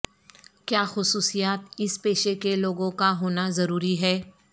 کیا خصوصیات اس پیشے کے لوگوں کا ہونا ضروری ہے